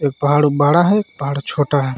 एक पहाड़ बड़ा है एक पहाड़ छोटा है.